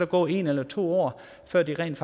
gået en eller to år før der rent